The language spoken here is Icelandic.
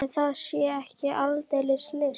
En það sé ekki aldeilis list.